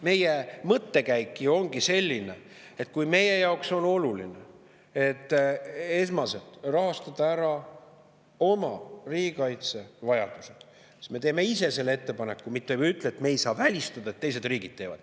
Meie mõttekäik ju ongi selline, et kui meie jaoks on oluline, et esmaselt rahastada ära oma riigikaitsevajadused, siis me teeme ise selle ettepaneku, mitte ei ütle, et me ei saa välistada, et teised riigid teevad.